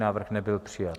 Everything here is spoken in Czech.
Návrh nebyl přijat.